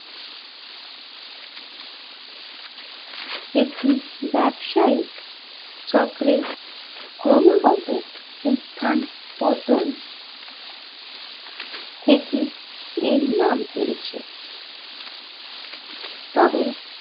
একটি ব্যবসায়িক চক্রের ক্রমাগত উত্থান পতন থেকে এর নাম পেয়েছে তবে